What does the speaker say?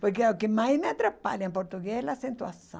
Porque o que mais me atrapalha em português é a acentuação.